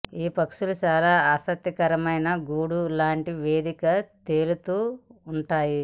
ఈ పక్షులు చాలా ఆసక్తికరమైన గూడు లాంటి వేదిక తేలుతూ ఉంటాయి